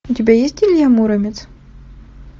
у тебя есть илья муромец